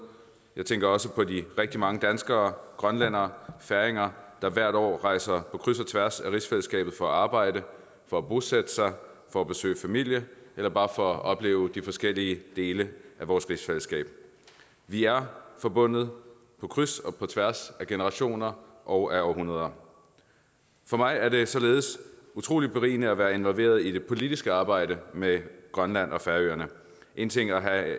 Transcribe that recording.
jeg tænker også på de rigtig mange danskere grønlændere og færinger der hvert år rejser på kryds og tværs af rigsfællesskabet for at arbejde for at bosætte sig for at besøge familie eller bare for at opleve de forskellige dele af vores rigsfællesskab vi er forbundet på kryds og tværs af generationer og af århundreder for mig er det således utrolig berigende at være involveret i det politiske arbejde med grønland og færøerne én ting er at